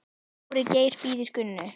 Dóri Geir bíður Gunnu.